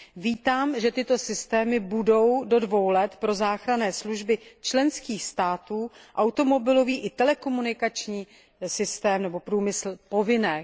Vítám, že tyto systémy budou do dvou let pro záchranné služby členských států, automobilový i telekomunikační systém nebo průmysl povinné.